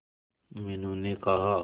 मीनू ने कहा